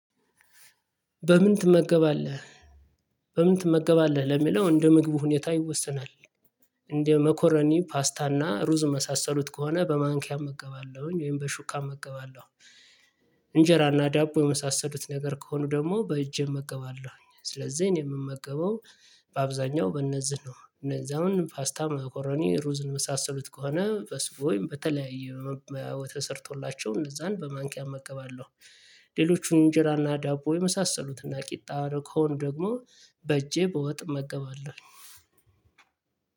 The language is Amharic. በምን ትመገባለህ? በምን ትመገባለህ ለሚለው እንደ ምግቡ ሁኔታ ይወሰናል። አንደ መኮረኒ ፓስታ አና ሩዝ የመሳሰሉት ከሆነ በ ማንኪያ እመገባለሁኝ ወይም በ ሹካ እመገባለሁ። እንጀራና ዳቦ የመሳሰሉት ነገር ከሆኑ ደግሞ በእጄ እመገባለሁ ስለዚህ እኔ የምመገበው በአብዛኛው በእነዚህ ነው። እነዚህ አሁን ፓስታ መኮረኒ ሩዝ የመሳሰሉት ከሆነ በሱ በተለያዩ መባያ ተሰርቶላቸው እነዛን በማንኪያ እመገባለሁ። ሌሎቹን እንጀራና ዳቦ የመሳሰሉትና ቂጣ ከሆኑ ደግሞ በእጄ በወጥ እመገባለሁኝ።